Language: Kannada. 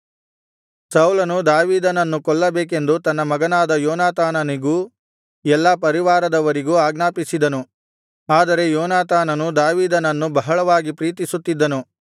ಸೌಲನು ದಾವೀದನನ್ನು ಕೊಲ್ಲಬೇಕೆಂದು ತನ್ನ ಮಗನಾದ ಯೋನಾತಾನನಿಗೂ ಎಲ್ಲಾ ಪರಿವಾರದವರಿಗೂ ಆಜ್ಞಾಪಿಸಿದನು ಆದರೆ ಯೋನಾತಾನನು ದಾವೀದನನ್ನು ಬಹಳವಾಗಿ ಪ್ರೀತಿಸುತ್ತಿದ್ದನು